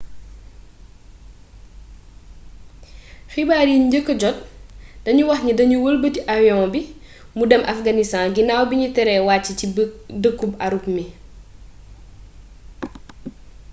xibaar yiñ njëkka jot dañu waxni dañu wëlbati avion bi mu dem afghanistan ginaaw bi ñu teree wàcci ci dëkkub ürümqi